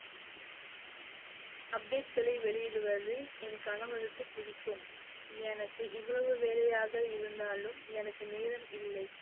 update களை வெளியிடுவது என் கணவருக்கு பிடிக்கும், எனக்கு எவ்வளவு வேலையாக இருந்தாலும் எனக்கு நேரம் இல்லை.